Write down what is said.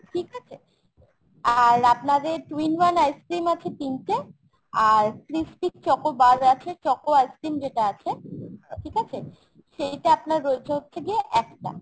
ঠিক আছে ? আর আপনাদের two in one ice-cream আছে তিনটে । আর crispy choco bar আছে choco ice-cream যেটা আছে ঠিক আছে সেইটা আপনার রয়েছে হচ্ছে গিয়ে একটা।